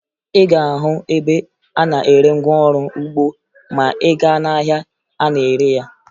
Ị ga-ahụ ebe a na-ere ngwaọrụ ugbo ma ị gaa n'ahịa na-ere ya